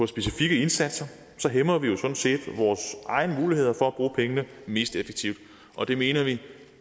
specifikke indsatser hæmmer vi jo sådan set vores egne muligheder for at bruge pengene mest effektivt og det mener vi